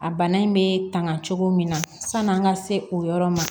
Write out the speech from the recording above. A bana in be tanga cogo min na sanni an ka se o yɔrɔ ma